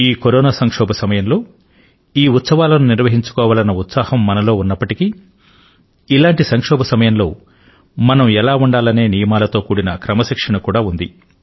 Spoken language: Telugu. ఈ కరోనా సంక్షోభ కాలంలో ఈ ఉత్సవాలను నిర్వహించుకోవాలన్న ఉత్సాహం మనలో ఉన్నప్పటికీ ఇలాంటి సంక్షోభ సమయంలో మనం ఎలా ఉండాలనే నియమాలతో కూడిన క్రమశిక్షణ కూడా ఉంది